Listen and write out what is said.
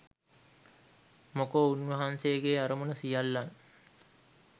මොකෝ උන්වහන්සේගේ අරමුණ සියල්ලන්